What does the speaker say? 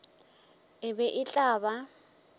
e be e tla ba